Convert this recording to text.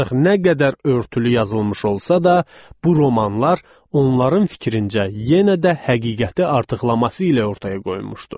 Ancaq nə qədər örtülü yazılmış olsa da, bu romanlar onların fikrincə yenə də həqiqəti artıqlaması ilə ortaya qoymuşdu.